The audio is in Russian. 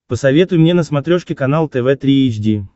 посоветуй мне на смотрешке канал тв три эйч ди